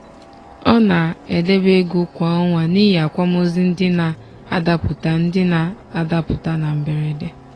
ọ na-edebe ego kwa ọnwa n'ihi akwamozu ndị na-adapụta ndị na-adapụta na mberede.